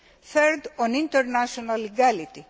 Third, on international legality.